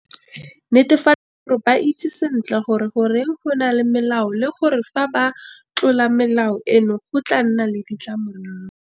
Netefatsa gore ba itse sentle gore goreng go na le melao le gore fa ba ka tlola melao eno go tla nna le ditlamorago.